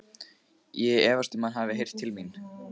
Ég efast um, að hann hafi heyrt til mín.